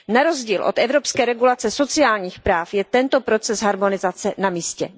Na rozdíl od evropské regulace sociálních práv je tento proces harmonizace na místě.